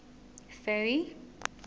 ferry